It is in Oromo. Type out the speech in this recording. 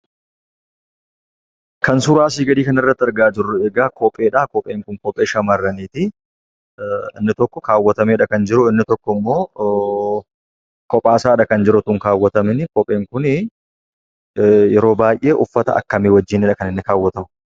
Kan suuraa asii gadii irratti argaa jirru egaa kopheedha; kopheen kun kophee shamarraniiti. Inni tokko kaawwatameedha kan jiru; inni tokko immoo kophaa isaadha kan jiru osoo hin kaawwatamin. Kopheen kun yeroo baay'ee uffata akkamii wajjinidha kan inni kaawwatamu?